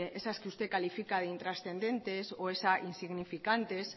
esas que usted califica de intrascendentes o insignificantes